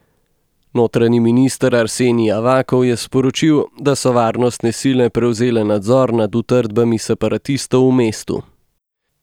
Notranji minister Arsenij Avakov je sporočil, da so varnostne sile prevzele nadzor nad utrdbami separatistov v mestu.